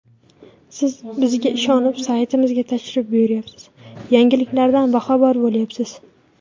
Siz bizga ishonib, saytimizga tashrif buyuryapsiz, yangiliklardan boxabar bo‘lyapsiz.